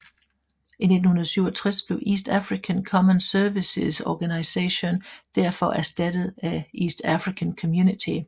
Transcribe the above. I 1967 blev East African Common Services Organisation derfor erstattet af East African Community